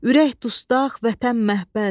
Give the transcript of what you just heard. Ürək dustaq, Vətən məhbəs.